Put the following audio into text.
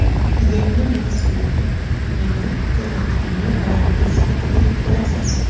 Yangi mavsumdan meni to‘laqonli murabbiy sifatida ko‘rasiz.